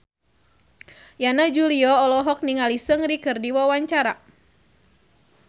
Yana Julio olohok ningali Seungri keur diwawancara